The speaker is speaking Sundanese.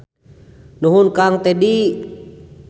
Nuhun Kang Tedi.